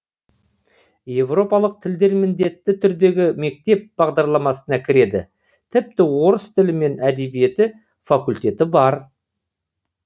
европалық тілдер міндетті түрдегі мектеп бағдарламасына кіреді тіпті орыс тілі мен әдебиеті факультеті бар